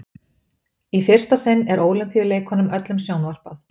Í fyrsta sinn er Ólympíuleikunum öllum sjónvarpað.